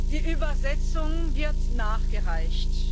Die Übersetzung wird nachgereicht.